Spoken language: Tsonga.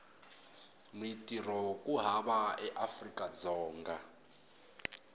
mintirho ku hava eafrika dzonga